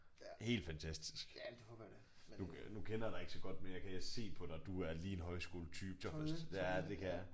Helt fantastisk. Nu nu kender jeg dig ikke så godt men jeg kan se på dig du er lige en højskoletype Thomas ja det kan jeg